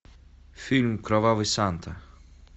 фильм кровавый санта